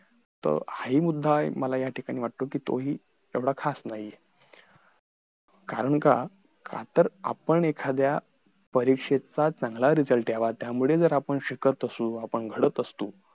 तर हा हि मुद्दा मला हि ह्या ठिकाणी वाटतो कि तो हि तेवढा खास नाही आहे कारण का का तर आपण एखाद्या परीक्षेचा चांगला result यावा त्यामुळे जर आपण शिकत असलो आपण घडत असलो